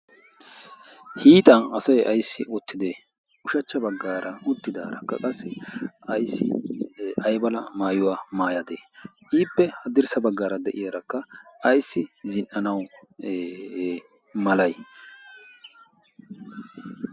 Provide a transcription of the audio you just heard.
hiixan asay ayssi ottide ushachcha baggaara uttidaarakka qassi ayssi ayba lamaayuwaa maayadee iippe haddirssa baggaara de'iyaarakka ayssi zin"anawu malay